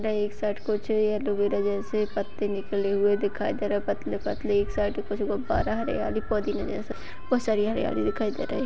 एक साइड कोचई एलोवेरा जैसे पत्ते निकले हुए दिखाई दे रहे है पतले पतले एक साइड कुछ गुब्बारा हरियाली पौधे जैसे बहुत सारी हरियाली दिखाई दे रही है।